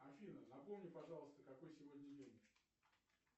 афина напомни пожалуйста какой сегодня день